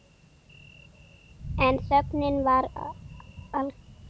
En þögnin var alger.